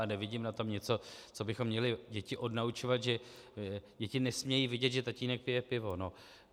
A nevidím na tom něco, co bychom měli děti odnaučovat, že děti nesmějí vidět, že tatínek pije pivo.